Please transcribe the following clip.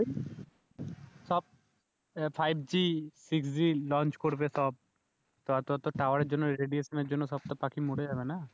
ওই সব five G six G launch করবে সব তো অতো অত টাওয়ার এর জন্য রেডিয়েশন এর জন্য সব তো পাখি মরে যাবে না